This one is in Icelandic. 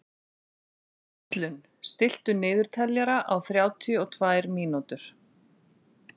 Gíslunn, stilltu niðurteljara á þrjátíu og tvær mínútur.